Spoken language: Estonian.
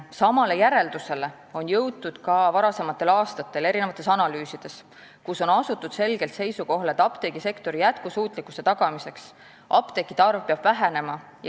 Samale järeldusele on jõutud ka varasematel aastatel tehtud analüüsides, kus on asutud selgele seisukohale, et apteegisektori jätkusuutlikkuse tagamiseks peab apteekide arv vähenema.